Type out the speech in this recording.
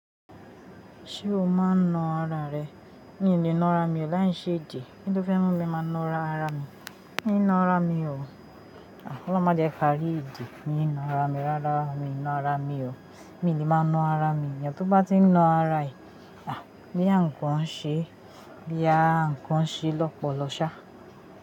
Ṣé o máa ń na ara rẹ? Mi ò lè na ara mi, ó láìṣe ìjì, kí ló fẹ́ mú mi máa na ara mi? Kí n na ara mi ọ̀? Ọlọ́run má jẹ ká rí ìjì kí n na ara mi, rárá mi ò lè na ara mi o. Mi ò lè máa na ara mi, iyẹn tó bá ti ń na ara ẹ, bóyá ǹkan ń ṣe, bóyá ǹkan ṣe lọ́pọ̀lọpọ̀ ṣá.